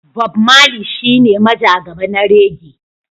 Bob Mali shine majagaba na reggae.